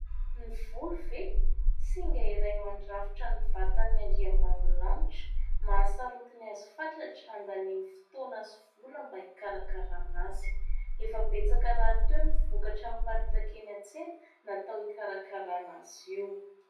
Ny volo ve ? Singa iray mandrafitra ny vatan'ny andriambavilanitra ; mahasarotiny azy fatratra ; andaniany fotoana sy vola mba hikarakarana azy. Efa betsaka rahateo ny vokatra miparitaka eny an-tsena natao hikarakarana azy io.